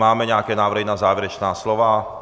Máme nějaké návrhy na závěrečná slova?